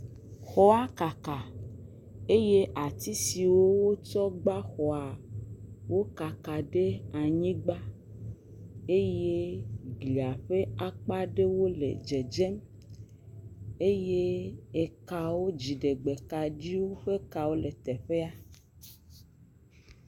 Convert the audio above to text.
Xɔa kaka eye ati siwo kɔ gba xɔa, wo kaka ɖe anyigba eye gli ƒe akpa ɖe wo le dzedzem eye ekawo, dziɖegbe ƒe kawo le teƒea.